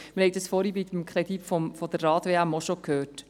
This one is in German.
Wir haben das vorhin beim Kredit für die Rad-WM auch schon gehört.